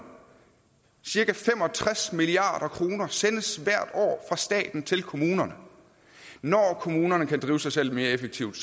cirka fem og tres milliard kroner sendes hvert år fra staten til kommunerne når kommunerne kan drive sig selv mere effektivt